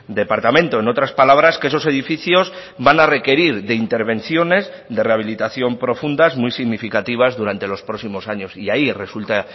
departamento en otras palabras que esos edificios van a requerir de intervenciones de rehabilitación profundas muy significativas durante los próximos años y ahí resulta